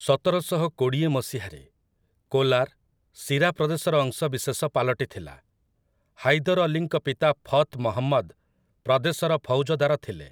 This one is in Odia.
ସତରଶହ କୋଡ଼ିଏ ମସିହାରେ, କୋଲାର୍, ସିରା ପ୍ରଦେଶର ଅଂଶବିଶେଷ ପାଲଟିଥିଲା । ହାଇଦର୍ ଅଲୀଙ୍କ ପିତା ଫଥ୍ ମହମ୍ମଦ୍ ପ୍ରଦେଶର ଫୌଜଦାର ଥିଲେ ।